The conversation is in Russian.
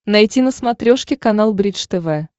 найти на смотрешке канал бридж тв